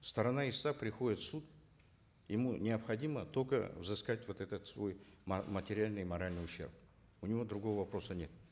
сторона истца приходит в суд ему необходимо только взыскать вот этот свой материальный и моральный ущерб у него другого вопроса нет